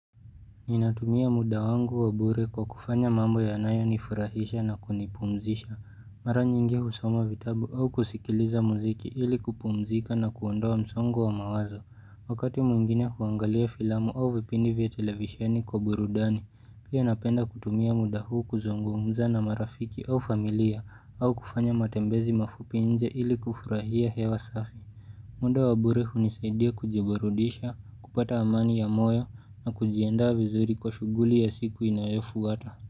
Ninatumia muda wangu wa bure kwa kufanya mambo yanayo nifurahisha na kunipumzisha. Mara nyingi husoma vitabu au kusikiliza muziki ili kupumzika na kuondoa msongo wa mawazo. Wakati mwingine huangalia filamu au vipindi vya televisheni kwa burudani, pia napenda kutumia muda huu kuzungumza na marafiki au familia au kufanya matembezi mafupi inje ili kufurahia hewa safi. Muda wa bure hunisaidia kujiburudisha, kupata amani ya moyo na kujianda vizuri kwa shughuli ya siku inayofwata.